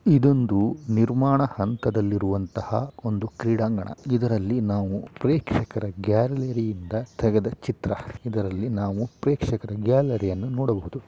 ಇದೊಂದು ನಿರ್ಮಾಣ ಹಂತದ ದಹಂತದಲ್ಲಿರುವಂತಹ ಒಂದು ಕ್ರೀಡಾಂಗಣ ಇದರಲ್ಲಿ ನಾವು ಪ್ರೇಕ್ಷಕರ ಗ್ಯಾಲರಿ ಇಂದ ತೆಗೆದ ಚಿತ್ರ ಇದರಲ್ಲಿ ನಾವು ಪ್ರೇಕ್ಷಕರ ಗ್ಯಾಲರಿಯನ್ನು ನೋಡಬಹುದು.